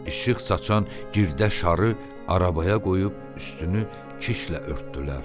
İşıq saçan girdə şarı arabaya qoyub üstünü kişlə örtdülər.